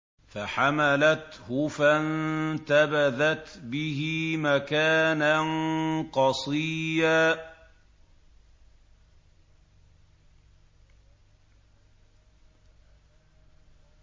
۞ فَحَمَلَتْهُ فَانتَبَذَتْ بِهِ مَكَانًا قَصِيًّا